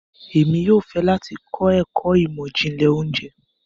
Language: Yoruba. Emi yóò fẹ lati kọ ẹkọ imọ-jinlẹ ounjẹ